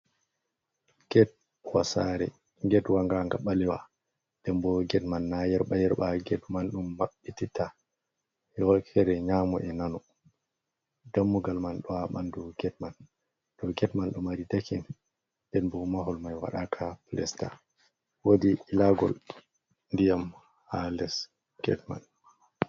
Get wa Sare, Get wa ngan nga ɓalewa. nden bo Get man na yerɓa yerɓa. Get man ɗum Mabɓti ha wokkere Nyamo e Nano. Dammugal man ɗo ha ɓandu Get man, dou get man ɗo mari Dakin nden bo Mahol mai waɗaka Pilasta, wodi ilagol ndiyam ha les Get man.